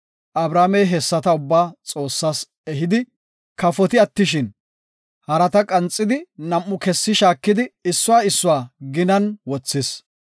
Abramey hessata ubba Xoossas ehidi kafoti attishin, harata qanxidi nam7u kessi shaakidi issuwa issuwa ginan wothis.